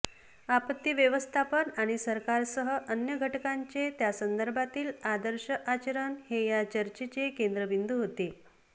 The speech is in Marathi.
आपत्ती व्यवस्थापन आणि सरकारसह अन्य घटकांचे त्यासंदर्भातील आदर्श आचरण हे या चर्चेचे केंद्रबिंदू होते